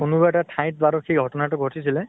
কোনোবা এটা ঠাইত বাৰু সেই ঘ্ট্না টো ঘটিছিলে।